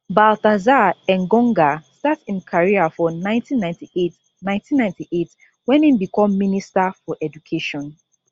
baltasar engonga start im career for 1998 1998 wen im become minister for education